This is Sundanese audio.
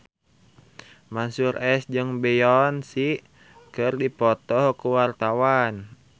Mansyur S jeung Beyonce keur dipoto ku wartawan